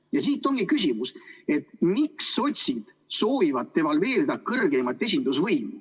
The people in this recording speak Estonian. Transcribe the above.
Ja siit tulebki küsimus, et miks sotsiaaldemokraadid soovivad devalveerida kõrgeimat esindusvõimu.